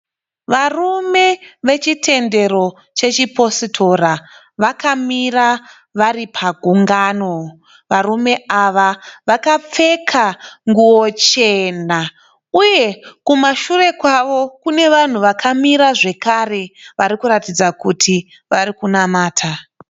Varume vechitendero chechipositora vakamira vari pagungano. Varume ava vakapfeka nguwo chena uye kumashure kwavo kune vanhu vakamira zvekare varikuratidza kuti vari kunamata.